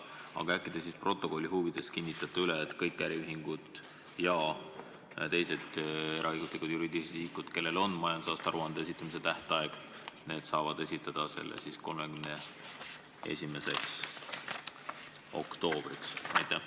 Aga äkki te stenogrammi huvides kinnitate üle, et kõik äriühingud ja teised eraõiguslikud juriidilised isikud, kellele on kehtestatud majandusaasta aruande esitamise tähtaeg, saavad esitada selle hiljemalt 31. oktoobriks?